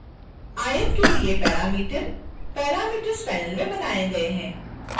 आयत के लिए पैरामीटर parameters panel में बनाए गए हैं